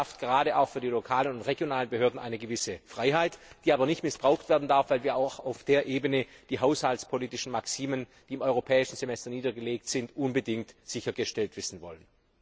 Das schafft gerade auch für die lokalen und regionalen Behörden eine gewisse Freiheit, die aber nicht missbraucht werden darf, weil wir auch auf dieser Ebene die haushaltspolitischen Maximen, die im europäischen Semester niedergelegt sind, unbedingt sichergestellt wissen wollen.